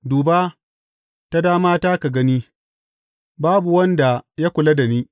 Duba ta damata ka gani; babu wanda ya kula da ni.